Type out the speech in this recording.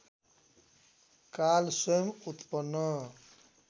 काल स्वयं उत्पन्न